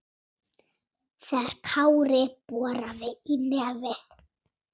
þegar Kári boraði í nefið.